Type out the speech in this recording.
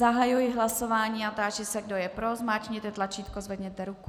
Zahajuji hlasování a táži se, kdo je pro, zmáčkněte tlačítko, zvedněte ruku.